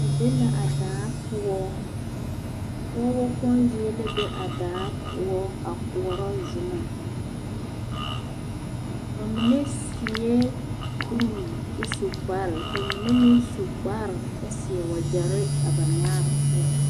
Ba be la a daa poɔ, pɔgebɔ kpoŋ zie la be a daa poɔ a koɔrɔ zomɔ bamine seɛ kuri kyɛ su kpare k'o mine meŋ su kpare kyɛ seɛ wagyɛre a ba nyaare poɔ.